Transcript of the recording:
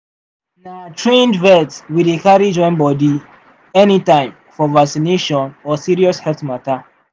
na trained vet we dey carry join body anytime for vaccination or serious health matter.